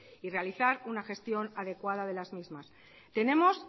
y realizar una gestión adecuada de las mismas tenemos